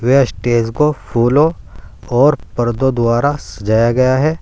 वह स्टेज को फूलों और पर्दों द्वारा सजाया गया है।